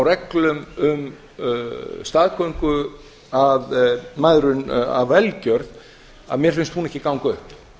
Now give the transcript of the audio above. reglum um staðgöngumæðrun af velgjörð að mér finnst hún ekki ganga upp